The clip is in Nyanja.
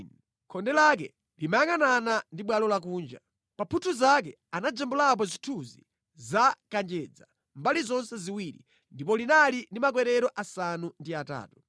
Khonde lake limayangʼanana ndi bwalo lakunja. Pa mphuthu zake anajambulapo zithunzi za kanjedza mbali zonse ziwiri, ndipo linali ndi makwerero asanu ndi atatu.